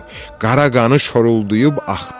Qara qanı şorulduyub axdı.